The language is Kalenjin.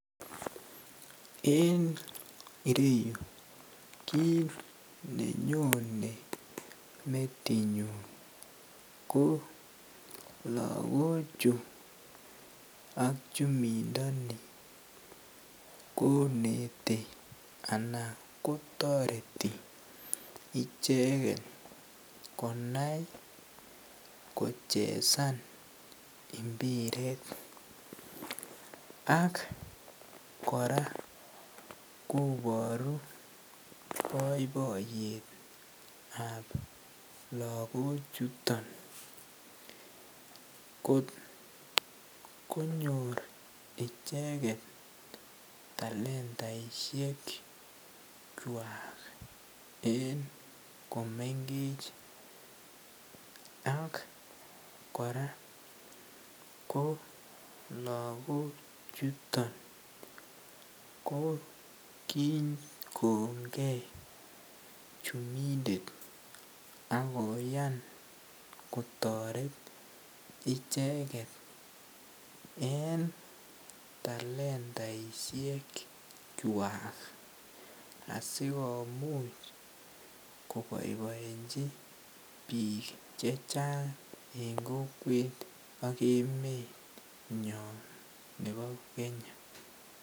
En ireyuu kit nenyone metinyun ko Loko chuu ak chumindo nii koneti anan kotoreti icheket konai kochezan imbaret ak koraa koboru boiboiyet ab Loko chuto kotkonyor icheket talentaishek kwak en komengech ak koraa ko lokok chuton ko kikonget chumindet ak koyan kotoret icheket en talentaishek kwak asikomuch koboiboechi bik chechang en kokwet ak emenyon nebo Kenya.